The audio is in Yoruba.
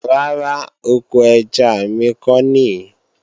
Rárá, oko ẹja mi ko nìí